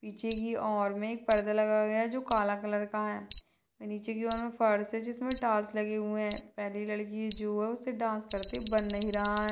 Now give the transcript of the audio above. पीछे की ओर मे एक पर्दा लगा हुआ है जो काला कलर का है नीचे की ओर मे फर्श है जिसमे टाइल्स लगे हुए है पहली लड़की जो है उससे डांस करते हुए बन नही रहा है।